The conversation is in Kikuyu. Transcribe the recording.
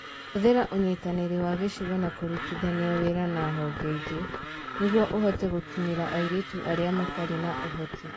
Hũthĩra ũnyitanĩri wa gĩcigo na kũrutithania wĩra na honge ingĩ nĩguo ũhote gũkinyĩra airĩtu arĩa matarĩ na ũhoti.